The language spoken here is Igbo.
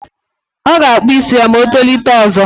Ọ ga-akpụ isi ya ma o tolite ọzọ.